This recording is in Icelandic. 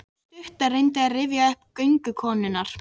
Sú stutta reyndi að rifja upp orð göngukonunnar.